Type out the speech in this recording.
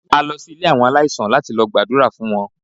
A lọ sí ilé àwọn aláìsàn láti lọ gbàdúrà fún wọn.